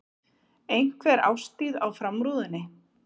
Einhver árstíð á framrúðunni.